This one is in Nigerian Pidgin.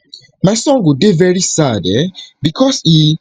my son go dey very sad um becos e